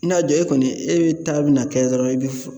I n'a jɔ e kɔni e be taa bi na kɛ dɔrɔn e be fo